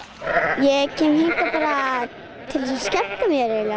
ég kem hingað til að skemmta mér eiginlega